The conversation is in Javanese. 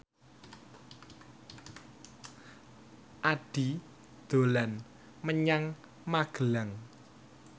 Addie dolan menyang Magelang